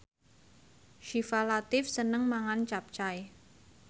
Syifa Latief seneng mangan capcay